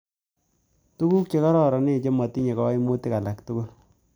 Tuguk che kararanen che matinye kaimutik alak tugul